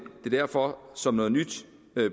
derfor som noget nyt